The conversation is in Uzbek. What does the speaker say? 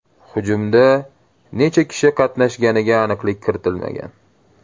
Hujumda necha kishi qatnashganiga aniqlik kiritilmagan.